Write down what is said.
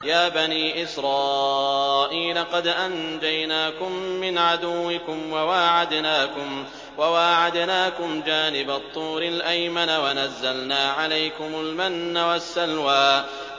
يَا بَنِي إِسْرَائِيلَ قَدْ أَنجَيْنَاكُم مِّنْ عَدُوِّكُمْ وَوَاعَدْنَاكُمْ جَانِبَ الطُّورِ الْأَيْمَنَ وَنَزَّلْنَا عَلَيْكُمُ الْمَنَّ وَالسَّلْوَىٰ